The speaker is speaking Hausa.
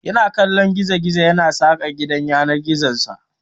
Yana kallon gizo-gizo yana saƙa gidan yanar gizonsa.